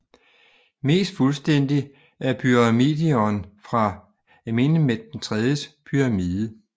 Mest fuldstændig er pyramidion fra Amenemhet IIIs pyramide